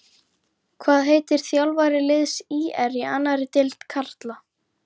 Eva Bergþóra Guðbergsdóttir: Hákon, einhver viðbrögð við dómnum?